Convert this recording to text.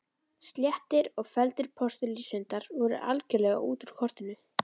Sléttir og felldir postulínshundar voru algerlega út úr kortinu.